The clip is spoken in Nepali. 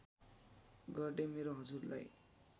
गर्दै मेरो हजुरलाई